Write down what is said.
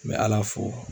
N bɛ ala fo